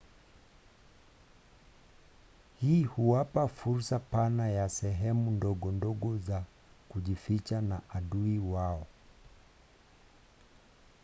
hii huwapa fursa pana ya sehemu ndogondogo za kujificha na adui wao